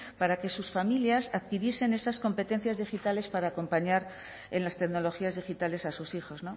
para que sus familias adquiriesen esas competencias digitales para acompañar en las tecnologías digitales a sus hijos